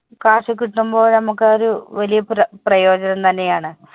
cash കിട്ടുമ്പോ ഞമ്മുക്ക് അതൊരു വെല്യ പ്ര പ്രയോജനം തന്നെയാണ്.